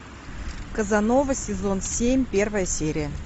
казанова сезон семь первая серия